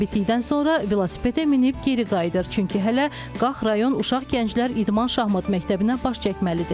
Təlim bitdikdən sonra velosipedə minib geri qayıdır, çünki hələ Qax rayon uşaq gənclər İdman Şahmat Məktəbinə baş çəkməlidir.